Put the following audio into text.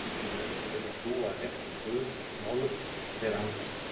Ungir menn sem vilja hlúa að réttum Guðs málum, þeir andast.